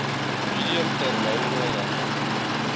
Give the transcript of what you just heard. medium termyn regte